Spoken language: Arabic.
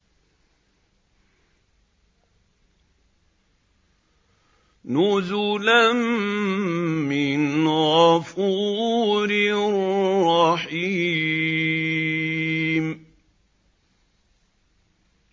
نُزُلًا مِّنْ غَفُورٍ رَّحِيمٍ